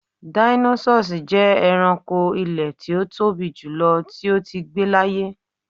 Dinosaurs jẹ ẹranko ilẹ ti o tobi julọ ti o tii gbe laaye